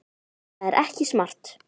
Það er ekki smart.